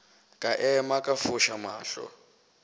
ka ema ka foša mahlo